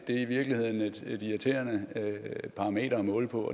i virkeligheden et irriterende parameter at måle på